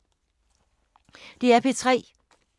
DR P3